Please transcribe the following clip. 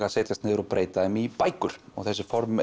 að setjast niður og breyta þeim í bækur og þetta form